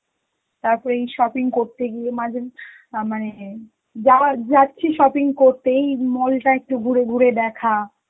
তাতো এই shopping করতে গিয়ে মাঝে~ আঁ মানে যার~ যাচ্ছি shopping করতে এই mall টা একটু ঘুরে ঘুরে দেখা,